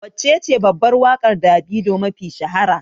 Waccece babbar waƙar Davido mafi shahara?